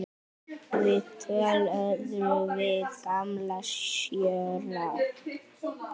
Viðtöl verða við gamla sjóara.